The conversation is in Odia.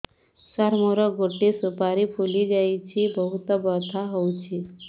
ସାର ମୋର ଗୋଟେ ସୁପାରୀ ଫୁଲିଯାଇଛି ବହୁତ ବଥା ହଉଛି